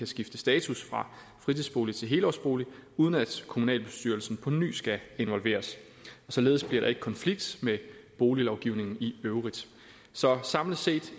skifte status fra fritidsbolig til helårsbolig uden at kommunalbestyrelsen på ny skal involveres således bliver der ikke konflikt med boliglovgivningen i øvrigt så samlet set